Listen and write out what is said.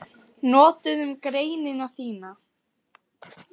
Notuðum greinina þína